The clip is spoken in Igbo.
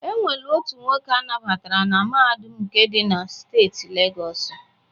Enwelu otu nwoke anabatara na Mahadum nke di na Steeti Legọsụ